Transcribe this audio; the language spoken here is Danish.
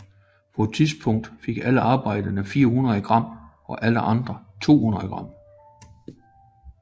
På dette tidspunkt fik arbejdere 400 gram og alle andre 200 gram